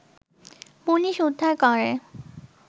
police উদ্ধার করে